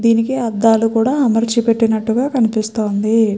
దేనికి ఆడాళ్ళు కూడా అమరిచిపెతినాటి కనిపిస్తుంది.